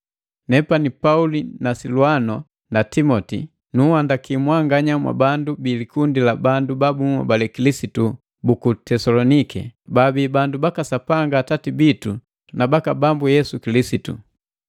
Nepani Pauli na Silwano na Timoti. Nunhandaki mwanganya mwabandu bi likundi la bandu ba bunhobale Kilisitu buku Tesolonike, baabi bandu baka Sapanga Atati bitu na waka Bambu Yesu Kilisitu.